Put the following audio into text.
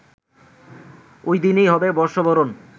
ওইদিনই হবে বর্ষবরণ